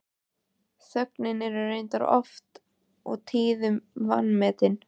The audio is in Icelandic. Þögnin er reyndar oft og tíðum vanmetin.